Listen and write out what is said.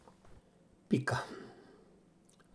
Pika.